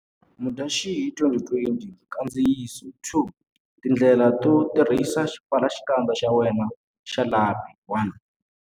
Mudyaxihi 2020 Nkandziyiso 2 Tindlela to tirhisa xipfalaxikandza xa wena xa lapi 1.